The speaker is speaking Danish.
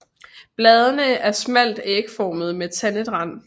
Bladene er smalt ægformede med tandet rand